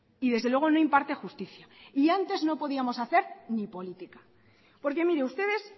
y desde luego no imparte justicia y antes no podíamos hacer ni política porque mire ustedes